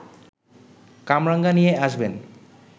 কামরাঙা নিয়ে আসবেন